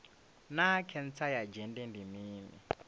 naa khentsa ya dzhende ndi mini